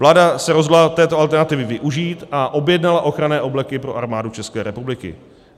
Vláda se rozhodla této alternativy využít a objednala ochranné obleky pro armádu České republiky.